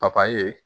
Papaye